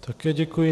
Také děkuji.